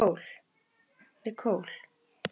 Nicole